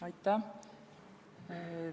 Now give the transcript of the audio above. Aitäh!